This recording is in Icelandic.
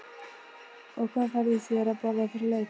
og hvað færðu þér að borða fyrir leik?